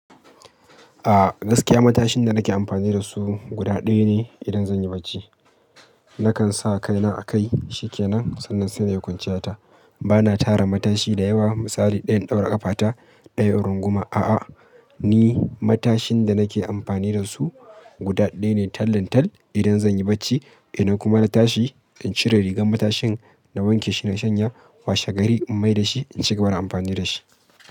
A'a gaskiya matashin da nake amfani da su, guda ɗaya ne idan zan yi barci. Nakan sa kai na a kai shi ke nan sannan sai na yi kwanciya ta. Bana tara matashi da yawa, misali ɗayan ɗaura ƙafa ta, ɗayan in runguma a'a. Ni matashin da nake amfani da su guda ɗaya ne tallan tall idan zan yi bacci idan kuma na tashi in cire rigar matashin na wanke shi, na shanya, washe gari in mai da shi in cigaba da amfani da shi.